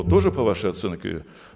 он тоже по вашей оценке